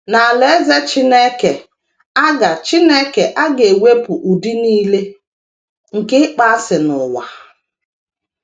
N’Alaeze Chineke a ga Chineke a ga - ewepụ ụdị nile nke ịkpọasị n’ụwa